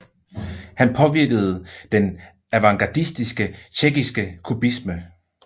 Han påvirkede den avantgardistiske tjekkiske kubisme